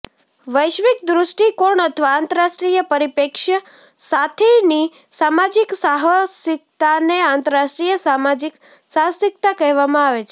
વૈશ્વિક દૃષ્ટિકોણ અથવા આંતરરાષ્ટ્રીય પરીપ્રેક્ષ્ય સાથેની સામાજિક સાહસિકતાને આંતરરાષ્ટ્રીય સામાજિક સાહસિકતા કહેવામાં આવે છે